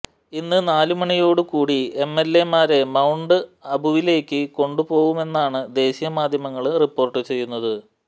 ഇന്ന് നാലുമണിയോട് കൂടി എംഎല്എമാരെ മൌണ്ട് അബുവിലേക്ക് കൊണ്ടുപോവുമെന്നാണ് ദേശീയമാധ്യമങ്ങള് റിപ്പോര്ട്ട് ചെയ്യുന്നത്